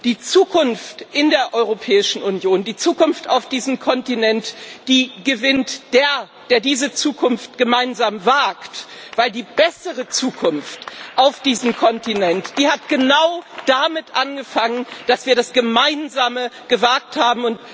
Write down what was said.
Die Zukunft in der Europäischen Union, die Zukunft auf diesem Kontinent, die gewinnt der, der diese Zukunft gemeinsam wagt, denn die bessere Zukunft auf diesem Kontinent hat genau damit angefangen, dass wir das Gemeinsame gewagt haben.